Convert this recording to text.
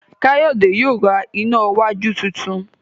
Kayode yíò rá iná wájú títún.